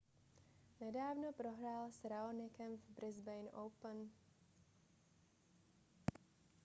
nedávno prohrál s raonicem v brisbane open